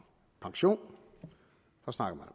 pension så snakker